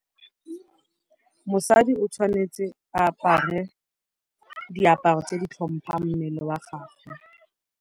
Mosadi o tshwanetse a apare diaparo tse di tlhompang mmele wa gage.